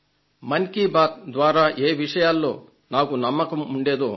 మన్ కీ బాత్ ద్వారా ఏ విషయాల్లో నాకు నమ్మకం ఉండేదో